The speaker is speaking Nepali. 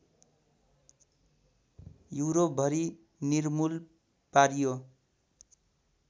युरोपभरि निर्मूल पारियो